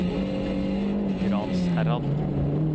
Gransherad